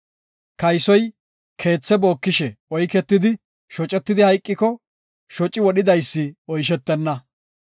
“Kaysoy keethe bookishe oyketidi shocetidi hayqiko, shoci wodhidaysi oyshetenna.